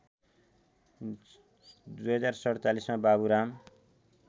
०४७ मा बाबुराम